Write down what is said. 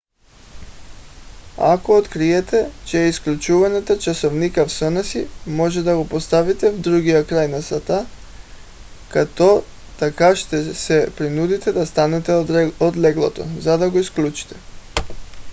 ако откриете че изключвате часовника в съня си можете да го поставите в другия край на стаята като така ще се принудите да станете от леглото за да го изключите